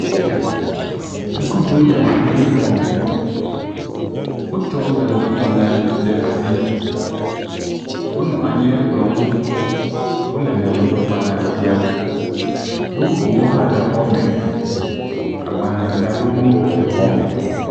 Sukuviwo nɔ anyi ɖe xɔ me. Wotsɔ nyadzɔdzɔgbalẽ ɖe asi. Wonɔ anyi ɖe kplɔ̃ ŋu. Wole nyadzɔdzɔgbalẽa xlem. Nu bubuwo hã le xɔame. Agbalẽdzraɖonuwo le xɔa me.